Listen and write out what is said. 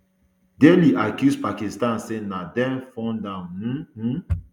delhi accuse pakistan say na dem fund am um um